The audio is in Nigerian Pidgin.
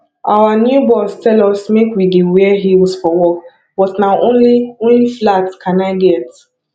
our new boss tell us make we dey wear heels for work but na only only flat can i get